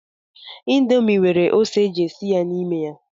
Indomi nwere ose eji esi ya n'ime ya.